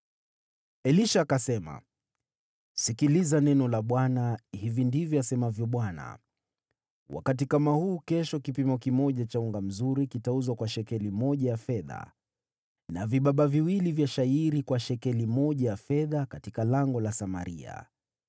Elisha akasema, “Sikiliza neno la Bwana . Hivi ndivyo asemavyo Bwana : Wakati kama huu kesho, kipimo kimoja cha unga mzuri kitauzwa kwa shekeli moja ya fedha, na vibaba viwili vya shayiri kwa shekeli moja ya fedha katika lango la Samaria.”